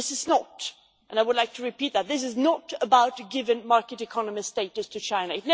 This is not and I would like to repeat that this is not about giving market economy status to China.